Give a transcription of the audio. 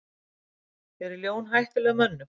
Eru ljón hættuleg mönnum?